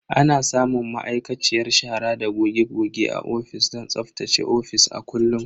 Ana samun ma'aikaciyar shara da goge goge a ofis don tsaftace ofis a kullum.